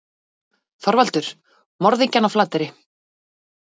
ÞORVALDUR: Morðingjann á Flateyri.